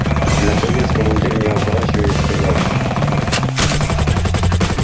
наконец командир не оборачиваясь сказал